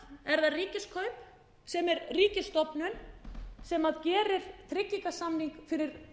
fyrir fleiri milljarða en samt er það ríkiskaup sem er ríkisstofnun sem gerir tryggingasamning fyrir